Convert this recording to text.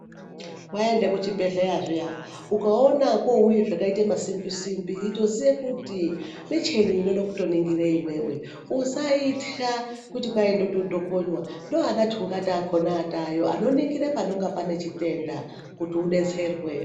Waende kuchibhedhlera zviya ukaona kwouya zvakaita masimbi simbi itozive kuti micheni inode kuto ningira iwewe usaitya kuti wotodhokonwa ndovana tungata vakhona vatovayo vanono ningira panochitenda kuti udetserwe.